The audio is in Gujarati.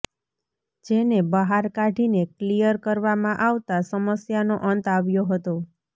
જેને બહાર કાઢીને ક્લીયર કરવામાં આવતા સમસ્યાનો અંત આવ્યો હતો